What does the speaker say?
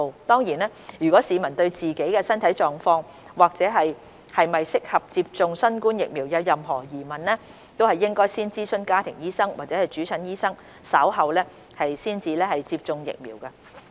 當然，如果市民對自己的身體狀況或是否合適接種新冠疫苗有任何疑問，應該先諮詢家庭醫生或主診醫生，稍後才接種疫苗。